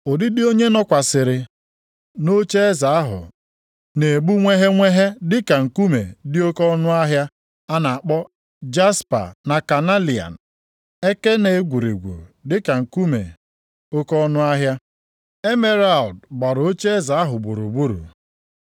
Ụdịdị onye nọkwasịrị nʼocheeze ahụ na-egbu nweghenweghe dịka nkume dị oke ọnụahịa a na-akpọ jaspa na kanelian. Eke na egwurugwu dịka nkume oke ọnụahịa. Emeralụdụ gbara ocheeze ahụ gburugburu.